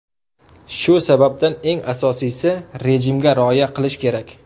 Shu sababdan, eng asosiysi, rejimga rioya qilish kerak.